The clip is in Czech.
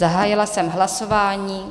Zahájila jsem hlasování.